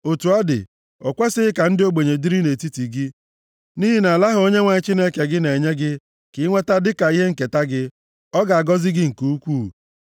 Otu ọ dị, o kwesighị ka ndị ogbenye dịrị nʼetiti gị, nʼihi nʼala ahụ Onyenwe anyị Chineke gị na-enye gị ka inweta dịka ihe nketa gị, ọ ga-agọzi gị nke ukwuu,